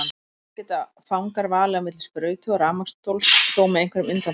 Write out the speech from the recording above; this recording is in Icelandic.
Þar geta fangar valið á milli sprautu og rafmagnsstóls, þó með einhverjum undantekningum.